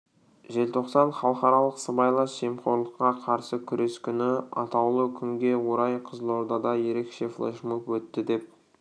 желтоқсан халықаралық сыбайлас жемқорлыққа қарсы күрес күні осы атаулы күнге орай қызылордада ерекше флешмоб өтті деп